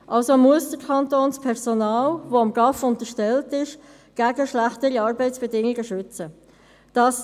Der Kanton muss das Personal, das diesem GAV unterstellt ist, gegen schlechtere Arbeitsbedingungen schützen.